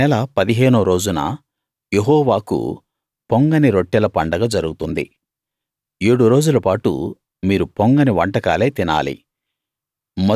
ఆ నెల పదిహేనో రోజున యెహోవాకు పొంగని రొట్టెల పండగ జరుగుతుంది ఏడు రోజుల పాటు మీరు పొంగని వంటకాలే తినాలి